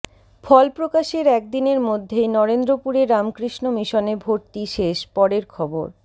ফলপ্রকাশের একদিনের মধ্যেই নরেন্দ্রপুরে রামকৃষ্ণ মিশনে ভর্তি শেষ পরের খবর